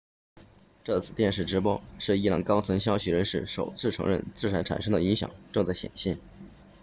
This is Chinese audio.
这次电视直播是伊朗高层消息人士首次承认制裁产生的影响正在显现